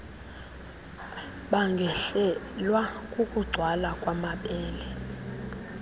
bangehlelwa kukugcwala kwamabele